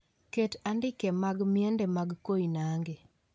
Ket andike mag miende mag koinange